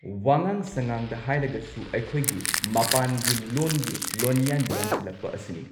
ꯋꯥꯉꯥꯡ ꯁꯉꯥꯡꯗ ꯍꯥꯏꯔꯒꯁꯨ ꯑꯩꯈꯣꯏꯒꯤ ꯃꯄꯥꯟꯒꯤ ꯂꯣꯟꯒꯤ ꯂꯣꯟꯌꯥꯟ ꯌꯥꯟꯁꯤꯜꯂꯛꯄ ꯑꯁꯤꯅꯤ꯫